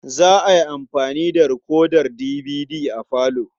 Za a yi amfani da rikodar dibidi a falo.